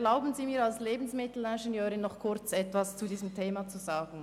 Erlauben Sie mir als Lebensmittelingenieurin kurz etwas zu diesem Thema zu sagen.